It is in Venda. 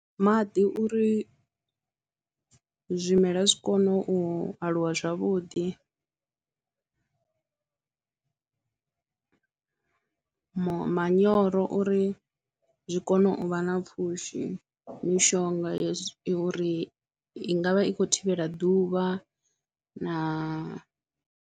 Maḓi uri zwimela zwi kone u aluwa zwavhuḓi, ma manyoro uri zwi kone u vha na pfhushi mishonga ya uri i i nga vha i khou thivhela ḓuvha na.